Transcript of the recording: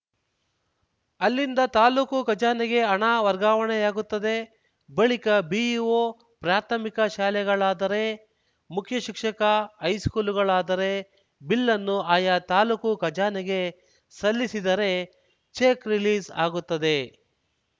ಅಲ್ಲಿಂದ ತಾಲೂಕು ಖಜಾನೆಗೆ ಹಣ ವರ್ಗಾವಣೆಯಾಗುತ್ತದೆ ಬಳಿಕ ಬಿಇಒಪ್ರಾಥಮಿಕ ಶಾಲೆಗಳಾದರೆ ಮುಖ್ಯ ಶಿಕ್ಷಕ ಹೈಸ್ಕೂಲುಗಳಾದರೆರು ಬಿಲ್ಲನ್ನು ಆಯಾ ತಾಲೂಕು ಖಜಾನೆಗೆ ಸಲ್ಲಿಸಿದರೆ ಚೆಕ್‌ ರಿಲೀಸ್‌ ಆಗುತ್ತದೆ